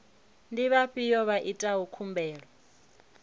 ndi vhafhiyo vha itaho khumbelo